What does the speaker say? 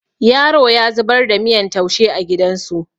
Yaro ya zubar da miyan taushe a gidan su